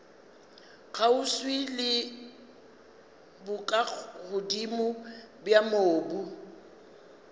kgauswi le bokagodimo bja mobu